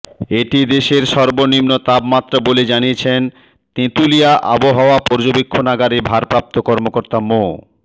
এটি দেশের সর্বনিম্ন তাপমাত্রা বলে জানিয়েছেন তেঁতুলিয়া আবহাওয়া পর্যবেক্ষণাগারের ভারপ্রাপ্ত কর্মকর্তা মো